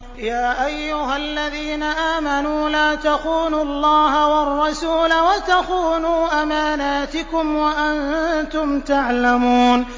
يَا أَيُّهَا الَّذِينَ آمَنُوا لَا تَخُونُوا اللَّهَ وَالرَّسُولَ وَتَخُونُوا أَمَانَاتِكُمْ وَأَنتُمْ تَعْلَمُونَ